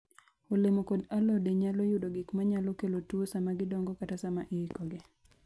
Olemo kod alode nyalo yudo gik ma nyalo kelo tuwo sama gidongo kata sama iikogi.